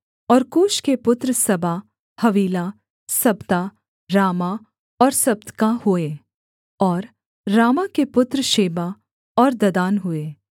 और कूश के पुत्र सबा हवीला सबता रामाह और सब्तका हुए और रामाह के पुत्र शेबा और ददान हुए